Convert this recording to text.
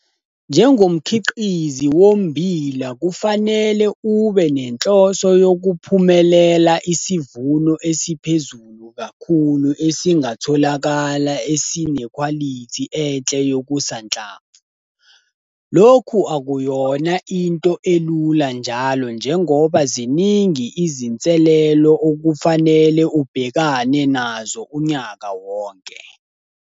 Njengomkhiqizi wommbila kufanele ube nenhloso yokuphumelela isivuno esiphezulu kakhulu esingatholakala esinekhwalithi enhle yokusanhlamvu. Lokhu akuyona into elula njalo njengoba ziningi izinselelo okufanele ubhekane nazo unyaka wonke.